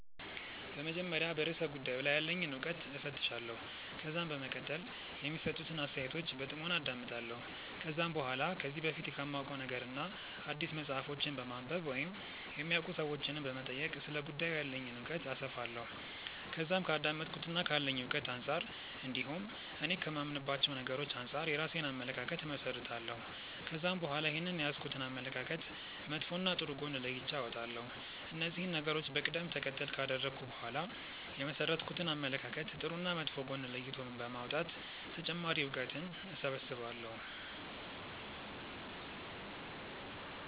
በመጀመሪያ በርእሰ ጉዳዩ ላይ ያለኝን እውቀት እፈትሻለሁ። ከዛም በመቀጠል የሚሰጡትን አስተያየቶች በጥሞና አዳምጣለሁ። ከዛም በኋላ ከዚህ በፊት ከማውቀው ነገርና አዲስ መጽሐፎችን በማንበብ ወይም የሚያውቁ ሰዎችንም በመጠየቅ ስለ ጉዳዩ ያለኝን እውቀት አሰፋለሁ። ከዛም ከአዳመጥኩትና ካለኝ እውቀት አንጻር እንዲሁም እኔ ከማምንባቸው ነገሮች አንጻር የራሴን አመለካከት እመሠረታለሁ። ከዛም በኋላ ይህንን የያዝኩትን አመለካከት መጥፎና ጥሩ ጎን ለይቼ አወጣለሁ። እነዚህን ነገሮች በቀደም ተከተል ካደረኩ በኋላ የመሠረትኩትን አመለካከት ጥሩና መጥፎ ጎን ለይቶ በማውጣት ተጨማሪ እውቀትን እሰበስባለሁ።